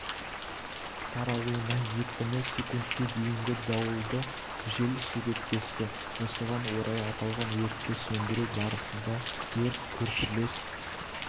таралуына екпіні секундке дейінгі дауылды жел себептесті осыған орай аталған өртті сөндіру барысында өрт көршілес